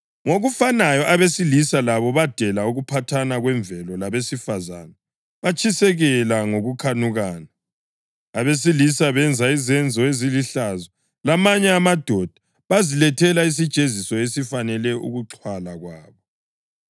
Ngokufanayo abesilisa labo badela ukuphathana kwemvelo labesifazane batshiseka ngokukhanukana. Abesilisa benza izenzo ezilihlazo lamanye amadoda, bazilethela isijeziso esifanele ukuxhwala kwabo.